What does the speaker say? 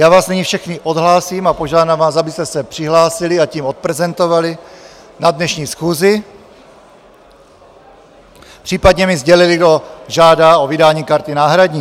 Já vás nyní všechny odhlásím a požádám vás, abyste se přihlásili, a tím odprezentovali na dnešní schůzi, případně mi sdělili, kdo žádá o vydání karty náhradní.